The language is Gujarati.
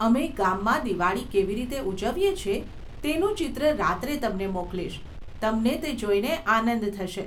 અમે ગામમાં દિવાળી કેવી રીતે ઉજવીએ છીએ તેનું ચિત્ર રાત્રે તમને મોકલીશ, તમને તે જોઈને આનંદ થશે.